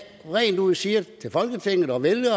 rent ud siger til folketinget og vælgerne